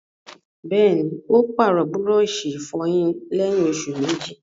Bẹ́ẹ̀ni, ó pàrọ̀ búrọ̀sì ìfọyín lẹ́yìn òsù méjì